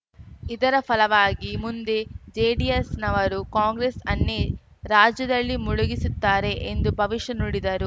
ಇದರ ಫಲವಾಗಿ ಮುಂದೆ ಜೆಡಿಎಸ್‌ನವರು ಕಾಂಗ್ರೆಸ್‌ ಅನ್ನೇ ರಾಜ್ಯದಲ್ಲಿ ಮುಳುಗಿಸುತ್ತಾರೆ ಎಂದು ಭವಿಷ್ಯ ನುಡಿದರು